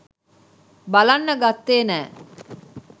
බලන්න ගත්තේ නෑ.